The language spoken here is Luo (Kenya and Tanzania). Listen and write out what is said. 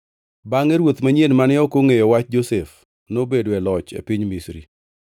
Bangʼe ruoth manyien mane ok ongʼeyo wach Josef nobedo e loch e piny Misri.